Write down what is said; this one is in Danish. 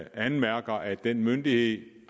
anmærker at den myndighed